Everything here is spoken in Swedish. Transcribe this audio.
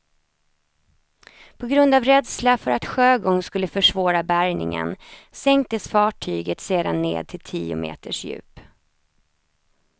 På grund av rädsla för att sjögång skulle försvåra bärgningen sänktes fartyget sedan ned till tio meters djup.